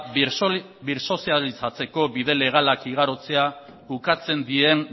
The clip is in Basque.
birsozializatzeko bide legalak igarotzea ukatzen dien